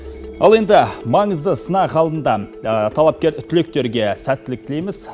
ал енді маңызды сынақ алдында талапкер түлектерге сәттілік тілейміз